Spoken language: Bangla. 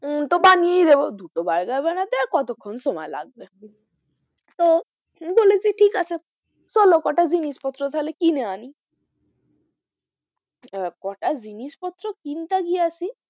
তো বানিয়েই দেবো দুটো বার্গার বানাতে আর কতক্ষন সময় লাগবে? তো বলেছি ঠিক আছে চলো কটা জিনিস পত্র তাহলে কিনে আনি আহ কটা জিনিস পত্র কিনতে গিয়েছি,